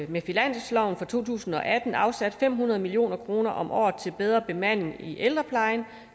med finansloven for to tusind og atten afsat fem hundrede million kroner om året til bedre bemanding i ældreplejen